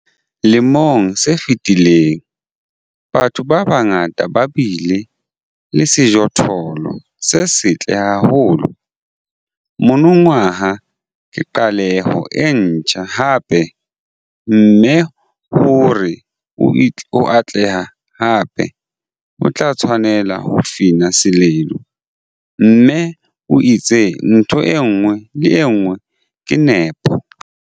Lemong se fetileng, batho ba bangata ba bile le sejothollo se setle haholo - monongwaha ke qaleho e ntjha hape, mme hore o atlehe hape, o tla tshwanela ho fina seledu, mme o etse ntho e nngwe le e nngwe ka nepo.